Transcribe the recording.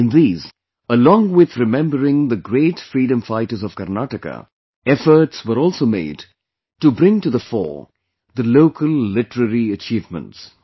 In these, along with remembering the great freedom fighters of Karnataka, efforts were also made to bring to the fore the local literary achievements